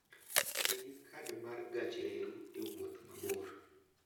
Ti gi kad mar gach reru e wuoth mabor.